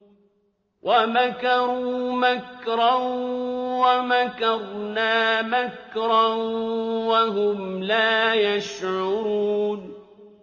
وَمَكَرُوا مَكْرًا وَمَكَرْنَا مَكْرًا وَهُمْ لَا يَشْعُرُونَ